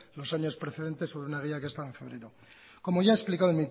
los años precedentes sobre una guía que estaba en febrero como ya he explicado